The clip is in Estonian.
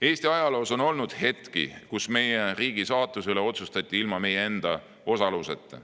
Eesti ajaloos on olnud hetki, kus meie riigi saatuse üle otsustati ilma meie enda osaluseta.